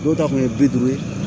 Dɔw ta kun ye bi duuru ye